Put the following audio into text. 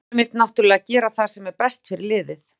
Maðurinn vill náttúrulega gera það sem er best fyrir liðið.